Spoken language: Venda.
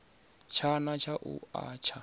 tshana tsha u a tsha